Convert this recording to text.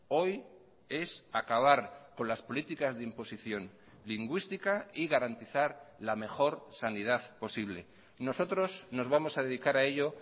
hoy es acabar con las políticas de imposición lingüística y garantizar la mejor sanidad posible nosotros nos vamos a dedicar a ello